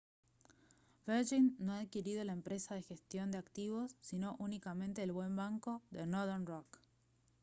virgin no ha adquirido la empresa de gestión de activos sino únicamente el «buen banco» de northern rock